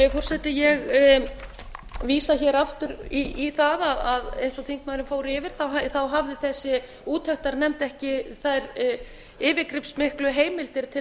virðulegi forseti ég vísa hér aftur í það að eins og þingmaðurinn fór yfir hafði þessi úttektarnefnd ekki þær yfirgripsmiklu heimildir til